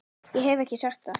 Ég hef ekki sagt það!